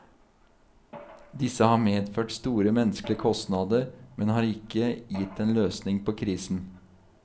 Disse har medført store menneskelige kostnader, men har ikke gitt en løsning på krisen.